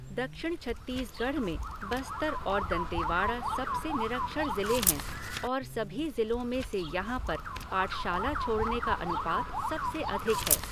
दक्षिण छत्तीसगढ़ में बस्तर और दंतेवाड़ा सबसे निरक्षर ज़िले हैं और सभी ज़िलों में से यहाँ पर पाठशाला छोड़ने का अनुपात सबसे अधिक है।